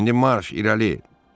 İndi marş, irəli!